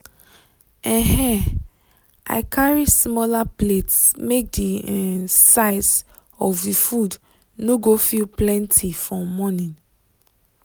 um i carry smaller plates make the um size of the food no go feel plenty for morning.